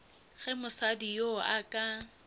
ge mosadi yoo a ka